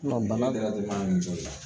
bana dɔrɔn de b'an ni muso ye